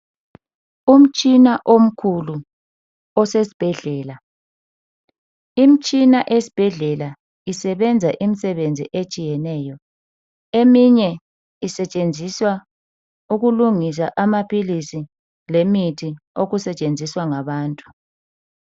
Umtshina omkhulu isesibhedlela. Imitshina esibhedlela isebenza imisebenzi etshiyeneyo. Eminye isetshenziswa ukulungisa amaphilizi lemithi okusetshenziswa ngabantu.